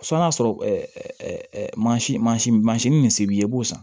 N'a y'a sɔrɔ mansin mansin mansin min bɛ se b'i ye i b'o san